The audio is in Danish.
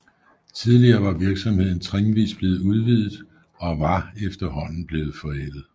Tidligere var virksomheden trinvist blevet udvidet og var efterhånden blevet forældet